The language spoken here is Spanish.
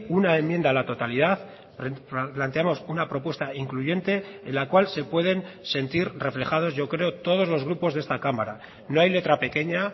una enmienda a la totalidad planteamos una propuesta incluyente en la cual se pueden sentir reflejados yo creo todos los grupos de esta cámara no hay letra pequeña